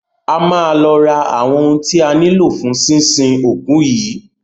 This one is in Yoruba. A máa lọ ra àwọn ohun ti a nílò fún sínsin òkú yìí.